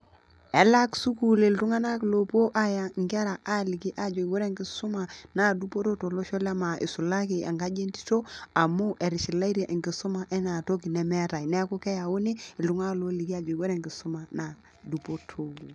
Elak sukuul iltung'anak loopuo ailiki aajo ore enkisuma naa dupoto tolosho lemaa eisulaki engaji entito amu eitishilaitie enkisuma enaa toki nemeetae neaku keyauni iltung'anak looliki aajoki ore enkisuma naa dupoto.